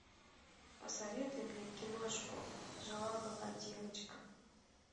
посоветуй мне киношку жила была девочка